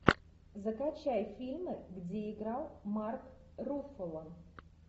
закачай фильмы где играл марк руффало